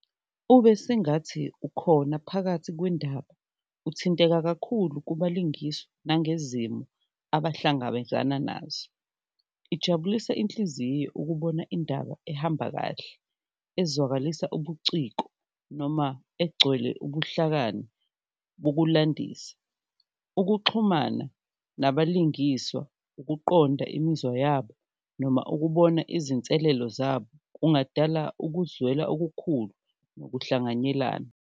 Ube sengathi ukhona phakathi kwendaba, uthinteka kakhulu ukubalungiswa nangezimo abahlangabezana nazo, ijabulisa inhliziyo ukubona indaba ehamba kahle ezwakalisa ubuciko noma egcwele ubuhlakani bokulandisa. Ukuxhumana nabalingiswa, ukuqonda imizwa yabo noma ukubona izinselelo zabo kungadala ukuzwela okukhulu nokuhlanganyelana.